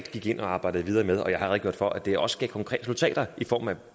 gik ind og arbejdede videre med og jeg har redegjort for at det også gav konkrete resultater i form af